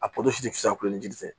A pɔsi tɛ fisa kulo ni jiri tɛ